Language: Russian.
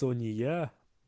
то ни я